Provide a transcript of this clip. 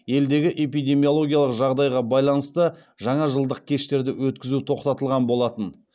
елдегі эпидемиологиялық жағдайға байланысты жаңажылдық кештерді өткізу тоқтатылған болатын